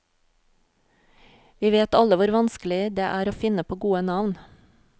Vi vet alle hvor vanskelig det er å finne på gode navn.